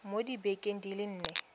mo dibekeng di le nne